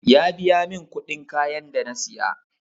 Ya biya min kuɗin kayan da na siya